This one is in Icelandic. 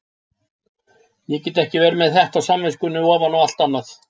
Ég get ekki verið með þetta á samviskunni ofan á allt annað.